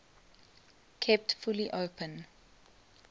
kept fully open